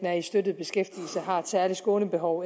er i støttet beskæftigelse har et særligt skånebehov